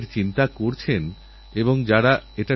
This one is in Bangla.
এ হল নতুন রকমের ধোঁকাবাজি ডিজিটালধোঁকাবাজি